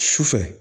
Su fɛ